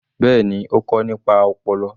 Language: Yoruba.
Bẹ́ẹ̀ni, ó kọ nípa ọpọlọ.